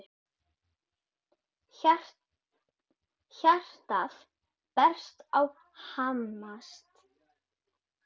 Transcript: Hjartað berst og hamast.